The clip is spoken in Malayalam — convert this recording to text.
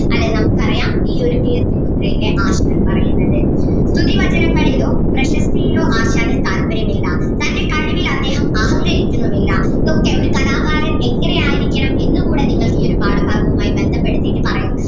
അല്ലെ നമുക്ക് പറയാം ഈ ഒരു കീർത്തിമുദ്രയിലെ ആശാൻ പറയുന്നത്. സ്തുതിവചനങ്ങളിലോ പ്രശസ്‌തിയിലോ ആശാന് താല്പര്യം ഇല്ല തൻ്റെ കഴിവിൽ അദ്ദേഹം അഹങ്കരിക്കുന്നും ഇല്ല ഇതൊക്കെ ഒരു കലാകാരൻ എങ്ങനെ ആയിരിക്കണം എന്ന് കൂടെ നിങ്ങൾക്ക് ഈ ഒരു പാഠഭാഗവുമായി ബന്ധപ്പെടുത്തിയിട്ട് പറയാം.